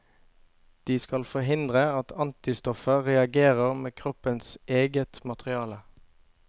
De skal forhindre at antistoffer reagerer med kroppens eget materiale.